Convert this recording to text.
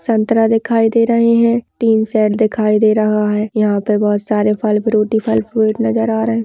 संतरा दिखाई दे रहे हैं तीन सेट दिखाई दे रहा है यहां पर बहुत सारे फल फ्रूट ही फल फ्रूट नजर आ रहे हैं।